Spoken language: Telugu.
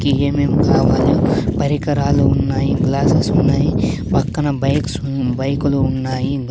కీఏమేం కావాలో పరికరాలు ఉన్నాయి గ్లాస్సెస్ ఉన్నాయి పక్కన బైక్స్ ఉన్ బైకులు ఉన్నాయి.